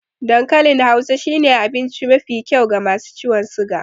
Dan kalin hausa shine abince mafi kyau ga masu ciwon siga